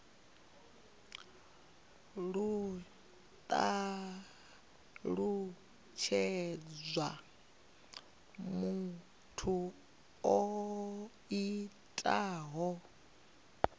ho talutshedzwa muthu o itaho